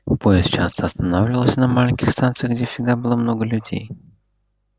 поезд часто останавливался на маленьких станциях где всегда было много людей